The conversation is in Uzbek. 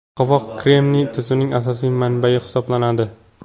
Qovoq kremniy tuzining asosiy manbayi hisoblanadi.